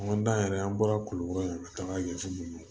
An ka dan yɛrɛ an bɔra kulukɔrɔ yan ka taga yan fɛ